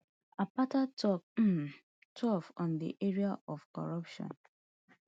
akpata tok um tough on di area of corruption